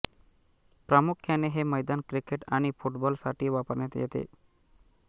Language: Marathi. प्रामुख्याने हे मैदान क्रिकेट आणि फुटबॉल साठी वापरण्यात येते